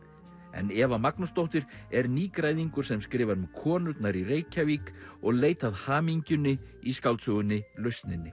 Eva Magnúsdóttir er nýgræðingur sem skrifar um konurnar í Reykjavík og leit að hamingjunni í skáldsögunni lausninni